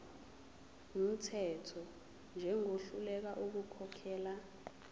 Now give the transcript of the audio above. wumthetho njengohluleka ukukhokhela